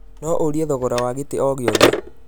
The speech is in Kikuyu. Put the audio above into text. No ũrie thogora wa gĩtĩ o gĩothe.